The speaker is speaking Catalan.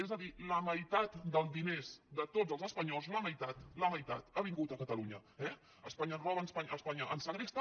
és a dir la meitat dels diners de tots els espanyols la meitat ha vingut a catalunya eh espanya ens roba espanya ens segresta